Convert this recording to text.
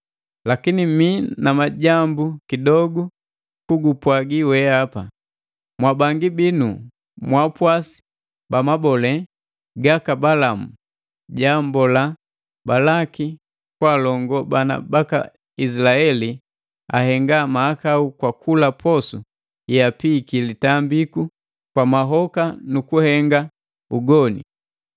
Lakini mii na majambu kidogu kugupwagi weapa: Mwabangi binu mwaapwasi ba mabole gaka Balamu joambolaa Balaki kwaalongo bana baka Izilaeli ahenga mahakau kwa kula posu yeapiiki litambiku kwa mahoka nu kuhenga ugoni.